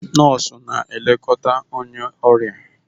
Nọọsụ na-elekọta onye ọrịa